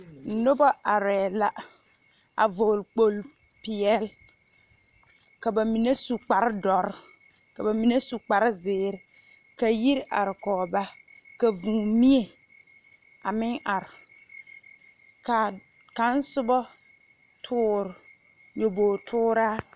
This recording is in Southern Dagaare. Noba arԑԑ la a vͻgele kpooli peԑle. Ka ba mine su kpare dõͻre, ka ba mine su kpare zeere. Ka yiri are kͻge ba, ka vũũ mie a meŋ are. ka kaŋ soba toore nyabogi-tooraa.